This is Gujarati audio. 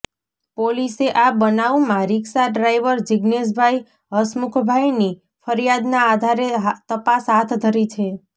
પોલીસે આ બનાવમાં રીક્ષા ડ્રાઈવર જીજ્ઞેશભાઈ હસમુખભાઈની ફરિયાદના આધારે તપાસ હાથધરી છે